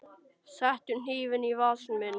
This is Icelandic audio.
Settu hnífinn í vasa minn.